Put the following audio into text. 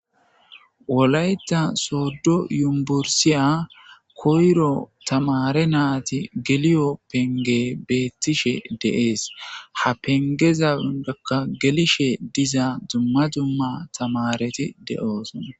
wolayta soddo yumbursiya koyro tamare naati geliyo penge beettishe deees ha pengeza udekka gelishe diza dzumma dumma tamareti de7oosona